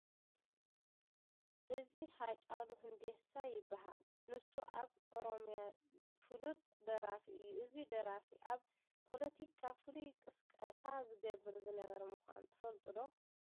እዚ ሃጫሉ ሁንዴሳ ይበሃል፡፡ ንሱ ኣብ ኦሮሚያ ፍሉጥ ደራፊ እዩ፡፡ እዚ ደራፊ ኣብ ፖለቲካ ፍሉይ ቅስቀሳ ዝገብር ዝነበረ ምዃኑ ትፈልጡ ዶ?